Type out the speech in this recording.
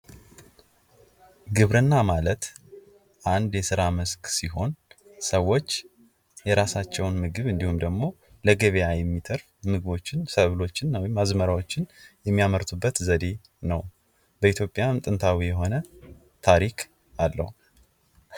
ግብርና ማለት አንድ የስራ መስክ ሲሆን ሰዎች የራሳቸውን ምግብ እንዲሁም ደግሞ ለገበያ የሚተርፍ ምግቦችን ሰብሎችን ወይም አዝመራዎችን የሚያመርቱበት ዘዴ ነው:: በኢትዮጵያም ጥንታዊ የሆነ ታሪክ አለው::